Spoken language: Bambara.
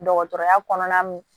Dɔgɔtɔrɔya kɔnɔna min